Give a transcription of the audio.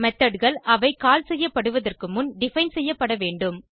Methodகள் அவை கால் செய்யப்படுவதற்கு முன் டிஃபைன் செய்யப்படவேண்டும்